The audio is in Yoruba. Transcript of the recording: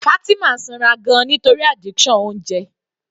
Fatima sanra gan-an nítorí addiction oúnjẹ.